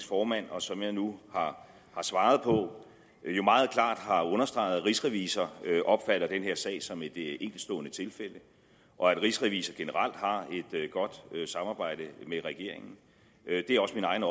formand og som jeg nu har svaret på jo meget klart har understreget at rigsrevisor opfatter denne sag som et enkeltstående tilfælde og at rigsrevisor generelt har et godt samarbejde med regeringen det er også min egen